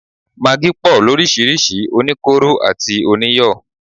Magí pọ̀ lóríṣirísi, oníkóró àti oníyọ̀